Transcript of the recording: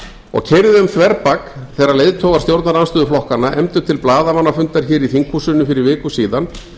og keyrði um þverbak þegar leiðtogar stjórnarandstöðuflokkanna efndu til blaðamannafundar hér í þinghúsinu fyrir viku síðan